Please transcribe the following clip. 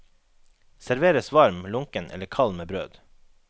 Serveres varm, lunken eller kald med brød.